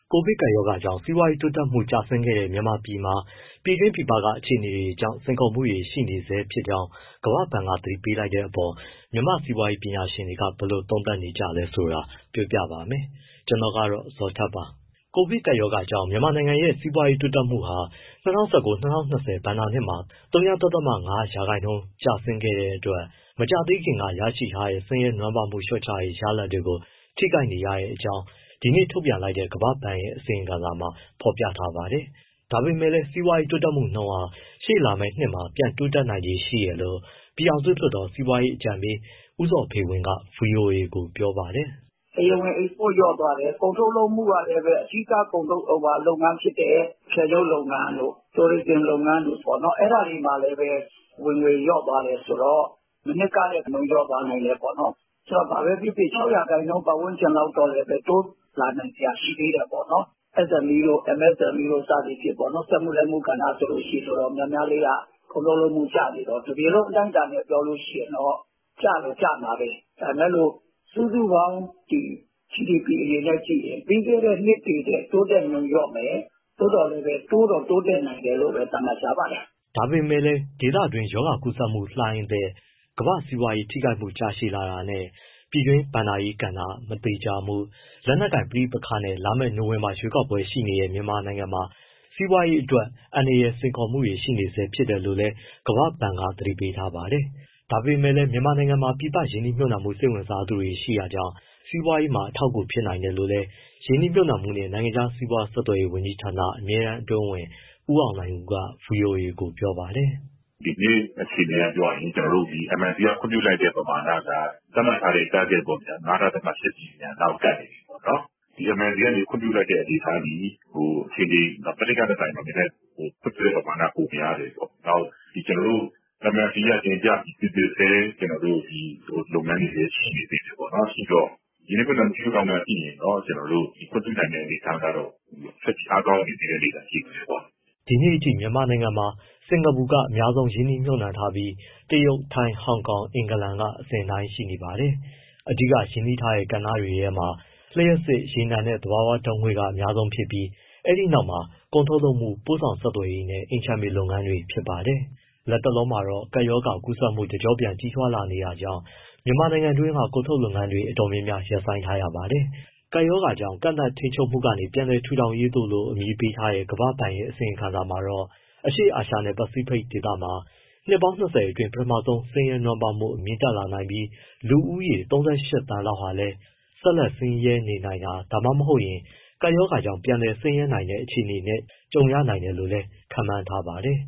ကိုဗစ်ကပ်ရောဂါကြောင့် စီးပွားရေးတိုးတက်မှု ကျဆင်းခဲ့တဲ့ မြန်မာနိုင်ငံမှာ ပြည်တွင်း၊ ပြည်ပက အခြေအနေတွေကြောင့် စိန်ခေါ်မှုတွေ ရှိနေဆဲဖြစ်ကြောင်း ကမ္ဘာ့ဘဏ်က သတိပေးလိုက်တဲ့အပေါ် မြန်မာစီးပွားရေး ပညာရှင်တွေက ဘယ်လိုသုံးသပ်နေကြသလဲဆိုတာ ပြောပြပါမယ်။ ဗွီအိုအေမြန်မာပိုင်းသတင်းထောက် ကိုဇော်ထက်က ပြောပြပေးပါမယ်။ ကိုဗစ်ကပ်ရောဂါကြောင့် မြန်မာနိုင်ငံရဲ့ စီးပွားရေးတိုးတက်မှုဟာ ၂၀၁၉-၂၀၂၀ ဘဏ္ဍာနှစ်မှာ ဝ.၅ ရာခိုင်နှုန်း ကျဆင်းခဲ့တဲ့အတွက် မကြာသေးခင်က ရရှိထားတဲ့ ဆင်းရဲနွမ်းပါးမှု လျှော့ချရေး ရလဒ်တွေကို ထိခိုက်နေရကြောင်း ဒီကနေ့ထုတ်ပြန်လိုက်တဲ့ ကမ္ဘာ့ဘဏ်ရဲ့ အစီရင်ခံစာမှာ ဖော်ပြထားပါတယ်။ ဒါပေမဲ့လည်း စီးပွားရေး တိုးတက်မှုနှုန်းဟာ ရှေ့လာမယ့်နှစ်မှာ ပြန်တိုးနိုင်ခြေရှိတယ်လို့ပြည်ထောင်စုလွှတ်တော် စီးပွားရေးအကြံပေး ဦးဇော်ဖေဝင်းက ဗွီအိုအေကို ပြောပါတယ်။ “ တရားဝင် export လျော့သွားတယ်၊ ကုန်ထုတ်လုပ်မှုက အဓိက ကုန်ထုတ်လုပ်ငန်းဖြစ်တဲ့ အထည်ချုပ်လုပ်ငန်းတို့ tourism လုပ်ငန်းတို့ အဲဒါတွေမှာလည်း ဝင်ငွေ လျော့သွားတယ်ဆိုတော့ မနှစ်ကထက် လျော့သွား နိုင်တယ်ပေါ့နော်၊ဘာပဲဖြစ်ဖြစ် ၆ ရာခိုင်နှုန်း ပတ်ဝန်းကျင်လောက် တိုးလာနိုင်စရာ ရှိသေးတယ်ပေါ့၊ SME တို့ MSME တို့ စသဖြင့် စက်မှုလက်မှု ကဏ္ဍဆိုရင် တော်တော်များများလေးက ကုန်ထုတ်လုပ်မှု ကျနေတော့ တပြည်လုံးအတိုင်းအတာနဲ့ ပြောလို့ရှိရင် ကျတော့ကျမှာပဲ ဒါပေမဲ့ စုစုပေါင်း GDP အနေနဲ့ ကြည့်မယ်ဆိုရင် ပြီးခဲ့တဲ့ နှစ်တွေထက် တိုးတက်နှုန်းလျော့မယ် သို့သော် တိုးတော့ တိုးတက်နိုင်တယ်လို့ပဲ သတ်မှတ် ထားပါတယ်။” ဒါပေမဲ့လည်း ဒေသတွင်း ရောဂါကူးစက်မှုလှိုင်းအသစ်၊ ကမ္ဘာ့စီးပွားရေး ထိခိုက်မှုကြာရှည်လာတာနဲ့ ပြည်တွင်းဘဏ္ဍာရေးကဏ္ဍ မသေချာမှု၊ လက်နက်ကိုင်ပဋိပက္ခတွေနဲ့ လာမယ့် နိုဝင်ဘာလ ရွေးကောက်ပွဲတွေ ရှိနေတဲ့ မြန်မာနိုင်ငံမှာ စီးပွားရေးအတွက် အန္တရာယ်နဲ့ စိန်ခေါ်မှုတွေ ရှိနေဆဲ ဖြစ်တယ်လို့လည်း ကမ္ဘာ့ဘဏ်က သတိပေးထားပါတယ်။ ဒါပေမဲ့လည်း မြန်မာနိုင်ငံမှာ ပြည်ပကရင်းနှီးမြှုပ်နှံဖို့ စိတ်ဝင်စားသူတွေ ရှိနေတာကြောင့် စီးပွားရေးမှာ အထောက်အကူ ဖြစ်နိုင်တယ်လို့လည်း ရင်းနှီးမြှုပ်နှုံမှုနှင့် နိုင်ငံခြားစီးပွား ဆက်သွယ်ရေး ဝန်ကြီးဌာန အမြဲတမ်းအတွင်းဝန် ဦးအောင်နိုင်ဦးက ဗွီအိုအေကို ပြောပါတယ်။ “ ဒီနေ့အခြေအနေအရ ပြောရရင် ကျနော်တို့ MIC က ခွင့်ပြုလိုက်တဲ့ ပမာဏက သတ်မှတ်ထားတဲ့ ပမာဏပေါ့ ၅.၈ ဘီလီယံလောက်ကို ကပ်နေပြီပေါ့နော်။ ဒီ MIC ကနေ ခွင့်ပြုလိုက်တဲ့ အနေအထားသည် မနှစ်ကထက်စာရင် ခွင့်ပြုလိုက်တဲ့ မနှစ်ကထက်စာရင်တော့ နည်းနည်း ခွင့်ပြုလိုက်တဲ့ပမာဏ ပိုများနေတယ်ပေါ့။ နောက် ကျနော်တို့ MIC က တင်ပြပြီး စိစစ်ဆဲ လုပ်ငန်းတွေလည်း ရှိနေသေးတယ်ပေါ့။ ရင်းနှီးမြှုပ်နှံမှု ရှုထောင့်က ကြည့်ရင်တော့ ခွင့်ပြုနိုင်တဲ့ အနေအထားက ဆက်ပြီး အားကောင်းတဲ့ အနေအထား ရှိတယ်ပေါ့။” ဒီနေ့အထိ မြန်မာနိုင်ငံမှာ စင်္ကာပူနိုင်ငံက အများဆုံးရင်းနှီးမြှုပ်နှံထားပြီး တရုတ်၊ ထိုင်း၊ ဟောင်ကောင်၊ အင်္ဂလန်က အစဉ်အတိုင်း ရှိနေပါတယ်။ အဓိက ရင်းနှီးထားတဲ့ ကဏ္ဍတွေထဲမှာ လျှပ်စစ်၊ ရေနံနဲ့ သဘာဝဓာတ်ငွေ က အများဆုံးဖြစ်ပြီး အဲဒီနောက်မှာ ကုန်ထုတ်လုပ်မှု၊ ပို့ဆောင်ဆက်သွယ်ရေးနဲ့ အိမ်ခြံမြေလုပ်ငန်းတွေ ဖြစ်ပါတယ်။ လတ်တလောမှာတော့ ကပ်ရောဂါကူးစက်မှုတွေ တကျော့ပြန် ကြီးထွားလာနေတာကြောင့် မြန်မာနိုင်ငံတွင်းက ကုန်ထုတ်လုပ်ငန်းတွေ တော်တော်များများ ရပ်ဆိုင်းထားရပါတယ်။ ကပ်ရောဂါကြောင့် “ကန့်သတ်ထိန်းချုပ်မှုကနေ ပြန်လည်ထူထောင်ရေးသို့” လို့ အမည်ပေးထားတဲ့ ကမ္ဘာ့ဘဏ်ရဲ့ အစီရင်ခံစာမှာတော့ အရှေ့အာရှနဲ့ ပစိဖိတ်ဒေသမှာ နှစ်ပေါင်း ၂၀ အတွင်း ပထမဆုံးအကြိမ် ဆင်းရဲနွမ်းပါးမှု မြင့်တက်လာနိုင်ပြီး၊ လူဦးရေ ၃၈ သန်းလောက်ဟာလည်း ဆက်လက် ဆင်းရဲနေနိုင်တာ၊ ဒါမှမဟုတ် ကပ်ရောဂါကြောင့် ပြန်လည်ဆင်းရဲတဲ့အခြေအနေနဲ့ ကြုံရနိုင်တယ်လို့လည်း ခန့်မှန်းထားပါတယ်